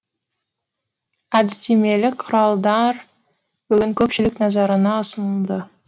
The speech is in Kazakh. әдістемелік құралдар бүгін көпшілік назарына ұсынылды